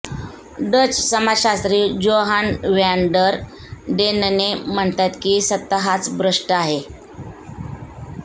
Dutch समाजशास्त्री Johan van der Dennen म्हणतात की सत्ता हाच भ्रष्ट आहे